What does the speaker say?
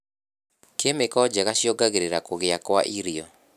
Kĩmĩko njega cuiongagĩrira kũgĩa kwa irio.